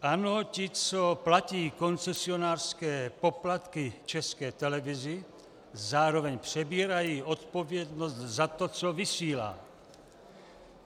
Ano, ti, co platí koncesionářské poplatky České televizi, zároveň přebírají odpovědnost za to, co vysílá.